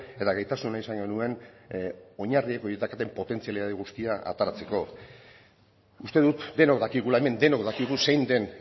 eta gaitasun izan genuen oinarri horiek daukaten potentziala guztia ateratzeko uste dut denok dakigula hemen denok dakigu zein den